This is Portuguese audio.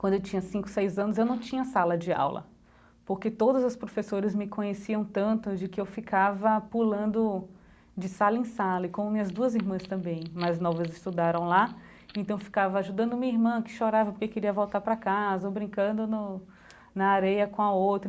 Quando eu tinha cinco, seis anos, eu não tinha sala de aula, porque todas as professoras me conheciam tanto de que eu ficava pulando de sala em sala e como minhas duas irmãs também, mais novas estudaram lá, então eu ficava ajudando minha irmã que chorava porque queria voltar pra casa, ou brincando no na areia com a outra.